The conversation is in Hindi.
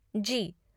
जी।